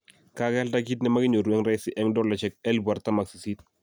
Kagealda kit namakinyoru eng rahisi eng dolaishek48000